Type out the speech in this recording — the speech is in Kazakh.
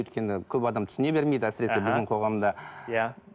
өйткені көп адам түсіне бермейді әсіресе біздің қоғамда иә